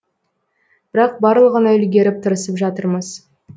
бірақ барлығына үлгеріп тырысып жатырмыз